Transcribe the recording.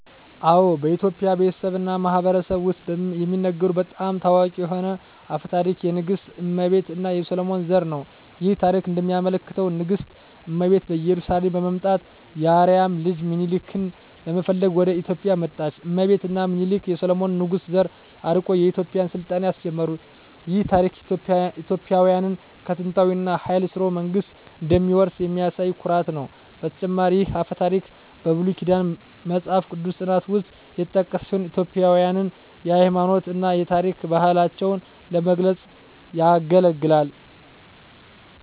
አዎ፣ በኢትዮጵያ ቤተሰብ እና ማህበረሰብ ውስጥ የሚነገሩ በጣም ታዋቂ የሆነ አፈ ታሪክ የንግሥት እመቤት እና የሰሎሞን ዘር ነው። ይህ ታሪክ እንደሚያመለክተው ንግሥት እመቤት ከኢየሩሳሌም በመምጣት የአርአያ ልጅ ሚኒሊክን ለመፈለግ ወደ ኢትዮጵያ መጣች። እመቤት እና ሚኒሊክ የሰሎሞን ንጉሥ ዘር አርቆ የኢትዮጵያን ሥልጣኔ አስጀመሩ። ይህ ታሪክ ኢትዮጵያውያን ከጥንታዊ እና ኃያል ሥርወ መንግሥት እንደሚወርሱ የሚያሳይ ኩራት ነው። በተጨማሪም ይህ አፈ ታሪክ በብሉይ ኪዳን መጽሐፍ ቅዱስ ጥናት ውስጥ የተጠቀሰ ሲሆን ኢትዮጵያውያንን የሃይማኖት እና የታሪክ ባህላቸውን ለመግለጽ ያገለግላል።